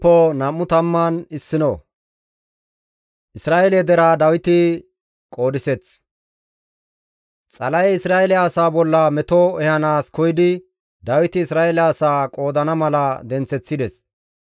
Xala7ey Isra7eele asaa bolla meto ehanaas koyidi Dawiti Isra7eele asaa qoodana mala denththeththides.